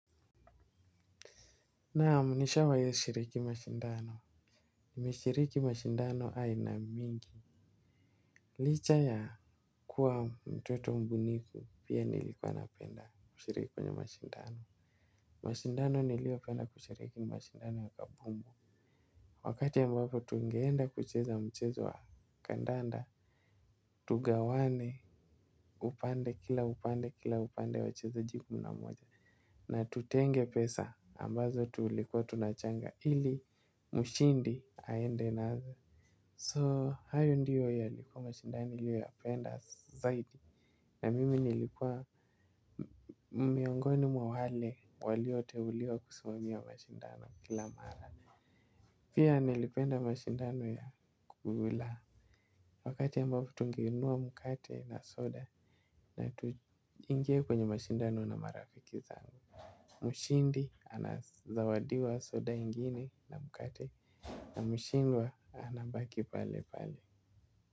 Naamu nishawai shiriki mashindano. Nime shiriki mashindano aina mingi. Licha ya kuwa mtoto mbunifu pia nilikuwa napenda shiriki kwenye mashindano. Mashindano nilio penda kushiriki mashindano wakabumbu. Wakati ambapo tungeenda kucheza mchezo wa kandanda. Tugawane upande kila upande kila upande wachezaji kumi namoja. Na tutenge pesa ambazo tulikuwa tunachanga. Ili mshindi haende nazo So hayo ndiyo yalikuwa mashindani niliyoya penda zaidi. Na mimi nilikuwa miongoni mwa wale walioteuliwa kusimamia mashindano kila mara. Pia nilipenda mashindano ya kugula. Wakati ambapo tungeinua mkate na soda na tuingie kwenye mashindano na marafiki zangu. Mshindi anazawadiwa soda ingine na mkate. Na mishindwa anabaki pale pale.